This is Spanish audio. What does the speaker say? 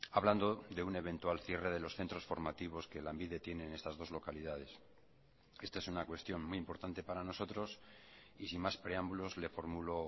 hablando de un eventual cierre de los centros formativos que lanbide tiene en estas dos localidades esta es una cuestión muy importante para nosotros y sin más preámbulos le formulo